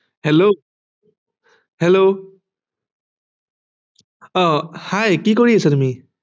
Hello Hello ah Hi কি কৰি আছা তুমি